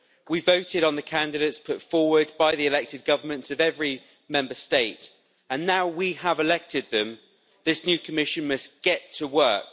We voted on the candidates put forward by the elected governments of every Member State, and now we have elected them, this new Commission must get to work.